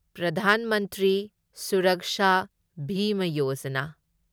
Pradhan Mantri Suraksha Bima Yojana